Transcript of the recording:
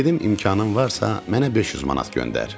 Dedim imkanın varsa, mənə 500 manat göndər.